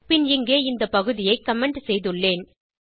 பின் இங்கே இந்த பகுதியை கமெண்ட் செய்துள்ளேன்